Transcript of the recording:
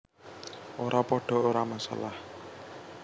Ora padha ora masalah